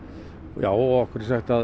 já okkur er sagt að